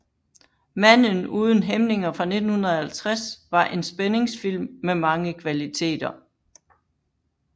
Manden uden hæmninger fra 1950 var en spændingsfilm med mange kvaliteter